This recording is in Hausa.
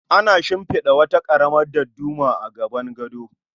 Ana shimfida wata karamar dadduma a gaban gado